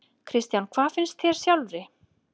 Kristján: Hvað finnst þér sjálfri?